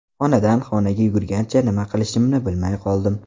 Xonadan xonaga yugurgancha nima qilishimni bilmay qoldim.